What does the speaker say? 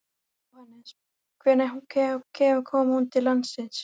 Jóhannes: Hvenær kom hún til landsins?